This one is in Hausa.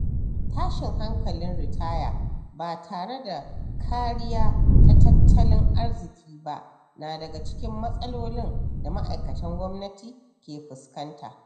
Tashin hankalin ritaya ba tare da kariya ta tattalin arziki ba na daga cikin matsalolin da ma'aikatan gwamnati ke fuskanta.